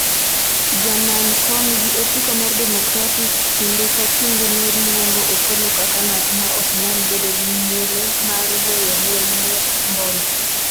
Jamany' kom gi otiko mar democratic kinde ka kinde ne luongo Opolo kaka ng'at ma ok nyal bedo gi muolo mar weyo lweny mar mbom